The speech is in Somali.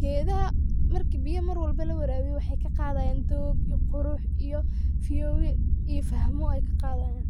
Geedhaha marka biya mar walbo lawaraawiyo waxey kaqaadhayan doog iyo qurux iyo fiyoobi iyo fahmo ayee kaqadhayaan.